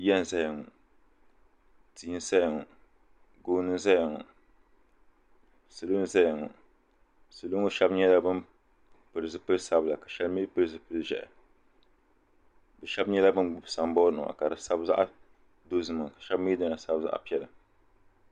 ya n-zaya ŋɔ tia n-saya ŋɔ gooni n-zaya ŋɔ salo n-zaya ŋɔ salo ŋɔ shɛba nyɛla ban pili zupil' sabila ka shɛba mi pili zupil' ʒɛhi bɛ shɛba nyɛla ban gbubi samboori nima ka di sabi zaɣ' dozima shɛba mi dina sabi zaɣ' piɛla